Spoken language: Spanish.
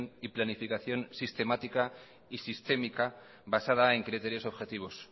y planificación sistemática y sistémica basada en criterios objetivos